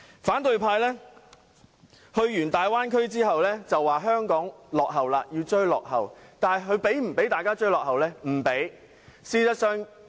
反對派議員到過粵港澳大灣區後表示香港落後了，要追落後，但他們有否讓香港人追落後？